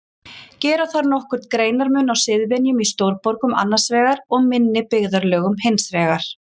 Gera þarf nokkurn greinarmun á siðvenjum í stórborgum annars vegar og minni byggðarlögum hins vegar.